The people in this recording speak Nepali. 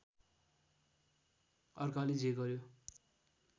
अर्काले जे गर्‍यो